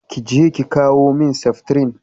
Kije ki kawo min seftrin!